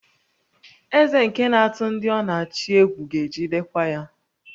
Eze nke na-atụ ndị ọ na-achị egwu ga-ejidekwa ya